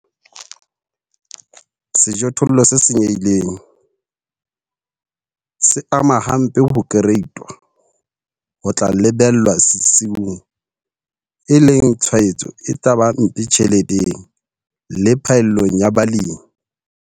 Sejothollo se senyehileng se ama hampe ho kereitwa ho tla lebellwa sesiung, e leng tshwaetso e tla ba mpe tjheleteng le phaellong ya balemi.